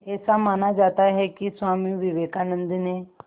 ऐसा माना जाता है कि स्वामी विवेकानंद ने